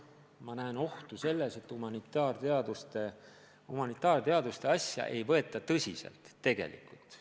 Ma näen ohtu selles, et humanitaarteadusi ei võeta tegelikult tõsiselt.